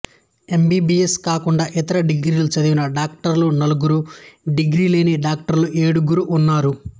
MBBS కాకుండా ఇతర డిగ్రీలు చదివిన డాక్టర్లు నలుగురు డిగ్రీ లేని డాక్టర్లు ఏడుగురు ఉన్నారు